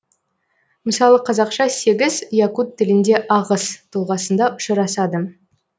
мысалы қазақша сегіз якут тілінде ағыс тұлғасында ұшырасады